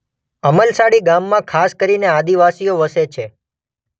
અમલસાડી ગામમાં ખાસ કરીને આદિવાસીઓ વસે છે.